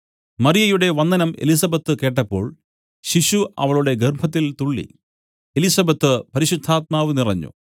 മറിയയുടെ വന്ദനം എലിസബെത്ത് കേട്ടപ്പോൾ ശിശു അവളുടെ ഗർഭത്തിൽ തുള്ളി എലിസബെത്ത് പരിശുദ്ധാത്മാവ് നിറഞ്ഞു